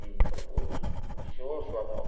E falaram, pô, o senhor é o seu Adalto?